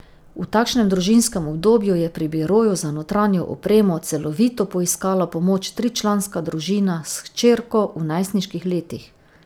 V takšnem družinskem obdobju je pri biroju za notranjo opremo Celovito poiskala pomoč tričlanska družina s hčerko v najstniških letih.